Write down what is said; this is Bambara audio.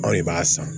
Anw de b'a san